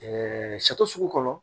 sugu kɔnɔ